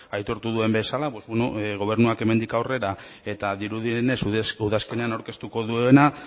aitortu duen bezala pues bueno gobernuak hemendik aurrera eta dirudienez udazkenean aurkeztuko duena